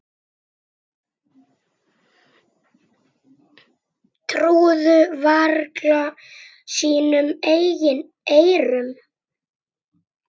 Trúðu varla sínum eigin eyrum.